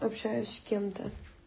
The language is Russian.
общаюсь с кем-то